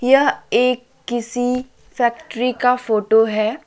यह एक किसी फैक्ट्री का फोटो है।